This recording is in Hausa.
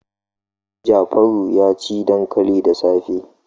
Jafaru ya ci dankali da safe.